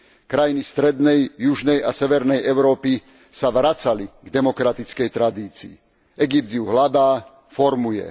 Krajiny Strednej, Južnej a Severnej Európy sa vracali k demokratickej tradícii, Egypt ju hľadá, formuje.